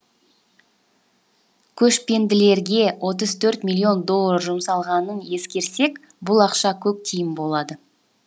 көшпенділерге отыз төрт миллион доллар жұмсалғанын ескерсек бұл ақша көк тиын болады